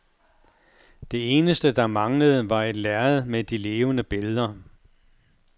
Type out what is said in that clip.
Det eneste, der manglede, var et lærred med de levende billeder.